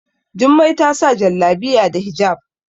Jummai ta sa Jallabiya da hijab